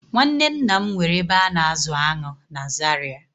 Nwanne nna m nwere ebe a na-azụ aṅụ na Zaria